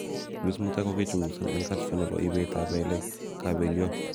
Grace Mutai kokokichunguzan eng kasfa nebo ibet tab kelek kap beliot.